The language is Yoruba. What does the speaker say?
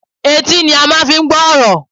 Etí ni a máa fi ń gbọ́ ọ̀rọ̀